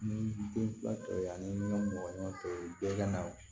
Ni den fila tɔ ye ani ɲɔgɔn tɔ ye bɛɛ ka na